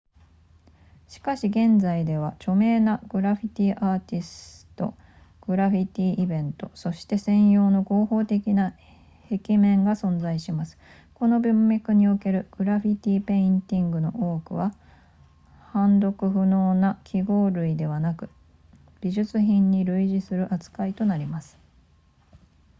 しかし現在では著名なグラフィティアーティストグラフィティイベントそして専用の合法的な壁面が存在しますこの文脈におけるグラフィティペインティングの多くは判読不能な記号類ではなく美術品に類似する扱いとなります